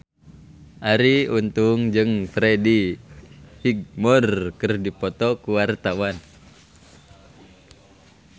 Arie Untung jeung Freddie Highmore keur dipoto ku wartawan